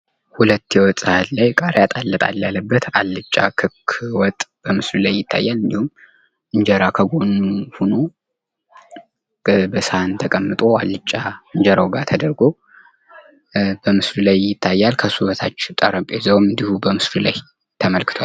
ሁለት የ ወጥ ሰሃን ላይ ቃርያ ጣል ጣል ያለበት አልጫ ክክ ወጥ ምስሉ ላይ ይታያል፤ እንጀራ ከጎኑ ሆኖ በሰሃን ተቀምጦ አልጫ እንጀራ ላይ ተደርጎ በምስሉ ላይ ይታያል። ከሱ በታች ጠረጴዛው እንዲሁም በምስሉ ላይ ተመልክቷል።